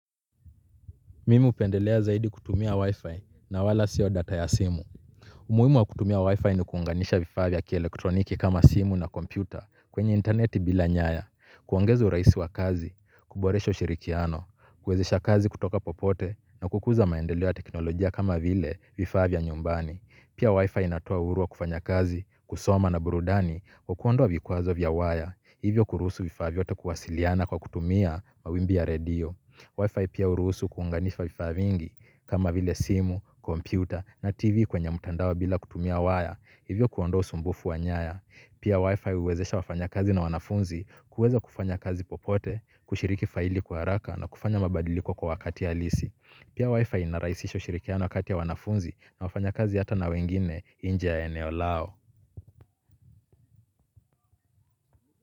Mimi hupendelea zaidi kutumia wifi na wala sio data ya simu. Umuhimu wa kutumia wifi ni kuunganisha vifaa vya kielektroniki kama simu na kompyuta kwenye interneti bila nyaya. Kuongeza urahisi wa kazi, kuboresha ushirikiano, kuwezesha kazi kutoka popote na kukuza maendeleo ya teknolojia kama vile vifaa vya nyumbani. Pia wifi inatoa uhuru wa kufanya kazi, kusoma na burudani, kwa kuondowa vikwazo vya wire. Hivyo kuruhusu vifaa vyote kuwasiliana kwa kutumia mawimbi ya redio Wi-Fi pia hurusu kuunganishwa vifaa vingi kama vile simu, kompyuta na tv kwenye mtandao bila kutumia waya hivyo kuondoa usumbufu wa nyaya. Pia Wi-Fi huwezesha wafanya kazi na wanafunzi kuweza kufanya kazi popote, kushiriki faili kwa haraka na kufanya mabadiliko kwa wakati halisi. Pia Wi-Fi inarahisisha ushirikiano kati ya wanafunzi na wafanya kazi hata na wengine inje ya eneo lao.